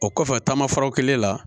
O kɔfɛ taamafaraw kelen la